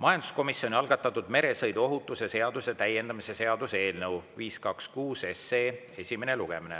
majanduskomisjoni algatatud meresõiduohutuse seaduse täiendamise seaduse eelnõu 526 esimene lugemine.